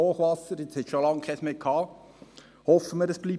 jetzt hatten wir schon lange keines mehr; hoffen wir, dass es so bleibt.